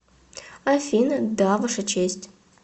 афина да ваша честь